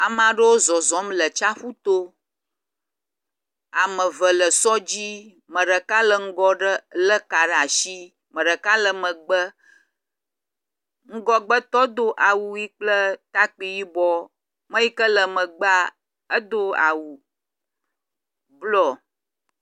Ame aɖewo zɔzɔm le tsaƒu to. Ame eve le sɔ dzi, ame ɖeka le ŋgɔ ɖe le ka ɖe asi ame ɖeka le megbe. Ŋgɔgbe tɔ do awu ʋi kple takpi yibɔ. Ame yi ke le megbea edo awu blɔ.